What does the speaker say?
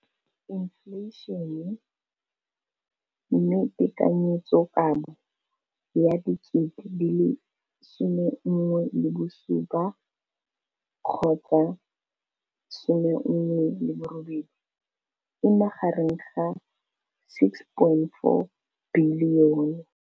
Infleišene, mme tekanyetsokabo ya 2017, 18, e magareng ga R6.4 bilione.